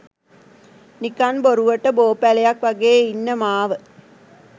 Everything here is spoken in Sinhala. නිකං බොරුවට බෝපැලයක් වගේ ඉන්න මාව